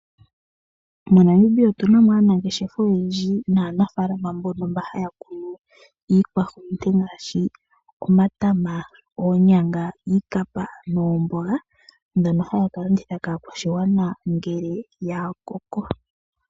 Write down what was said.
MoNamibia otu na mo aanangeshefa oyendji naanafalama mbono haya kunu iikwahulunde ngaashi omatama, oonyanga niikapa noomboga ndhono haya kalanditha kaakwashigwana ngele ya koko.